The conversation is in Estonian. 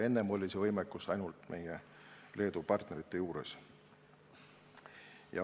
Enne oli selline võimekus ainult meie Leedu partneritel.